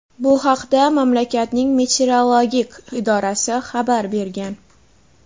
Bu haqda mamlakatning meteorologik idorasi xabar bergan.